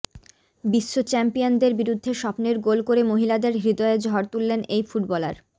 বিশ্বচ্যাম্পিয়নদের বিরুদ্ধে স্বপ্নের গোল করে মহিলাদের হৃদয়ে ঝড় তুললেন এই ফুটবলার